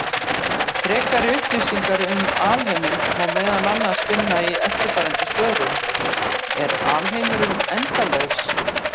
Frekari upplýsingar um alheiminn má meðal annars finna í eftirfarandi svörum: Er alheimurinn endalaus?